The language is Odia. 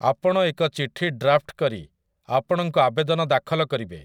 ଆପଣ ଏକ ଚିଠି ଡ୍ରାଫ୍ଟ୍ କରି ଆପଣଙ୍କ ଆବେଦନ ଦାଖଲ କରିବେ ।